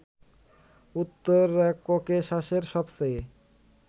উত্তর ককেশাসের সবচেয়ে